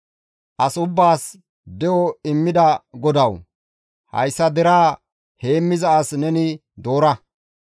«As ubbaas de7o immida GODAWU! Hayssa deraa heemmiza as neni doora;